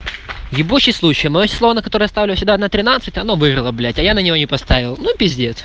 ебучей случай моё число на которое я ставлю всегда на тринадцать оно выиграло блять а я на него не поставил ну пиздец